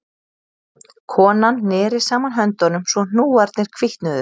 Konan neri saman höndunum svo hnúarnir hvítnuðu